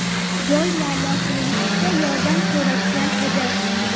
joy muammosini yechishda yordam so‘rashgan edi.